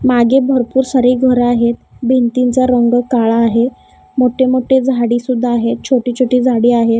मागे भरपूर सारे घर आहेत. भिंतींचा रंग काळा आहे. मोठी-मोठी झाडी सुद्धा आहेत. छोटी छोटी झाडी आहेत.